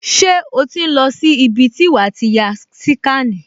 Ṣé o ti ń lọ sí ibi tí wàá ti ya síkànì?